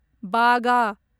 बागा